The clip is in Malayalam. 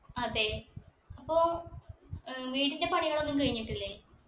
അതെ അപ്പൊ ഏർ വീടിന്റെ പണികളൊന്നും കഴിഞ്ഞിട്ടില്ലേ